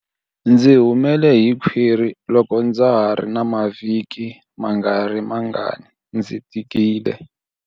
Ndzi humele hi khwiri loko ndza ha ri na mavhiki mangarimangani ndzi tikile.